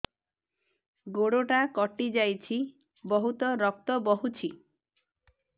ଗୋଡ଼ଟା କଟି ଯାଇଛି ବହୁତ ରକ୍ତ ବହୁଛି